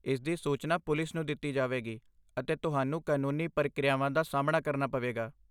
ਇਸਦੀ ਸੂਚਨਾ ਪੁਲਿਸ ਨੂੰ ਦਿੱਤੀ ਜਾਵੇਗੀ, ਅਤੇ ਤੁਹਾਨੂੰ ਕਾਨੂੰਨੀ ਪ੍ਰਕਿਰਿਆਵਾਂ ਦਾ ਸਾਹਮਣਾ ਕਰਨਾ ਪਵੇਗਾ।